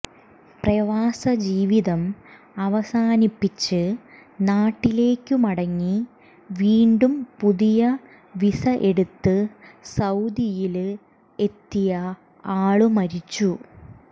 പ്രവാസജീവിതം അവസാനിപ്പിച്ച് നാട്ടിലേയ്ക്ക് മടങ്ങി വീണ്ടും പുതിയ വിസ എടുത്ത് സൌദിയില് എത്തിയ ആള് മരിച്ചു